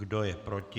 Kdo je proti?